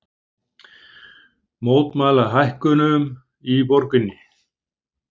Mótmæla hækkunum í borginni